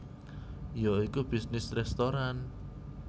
Ya iku bisnis restoran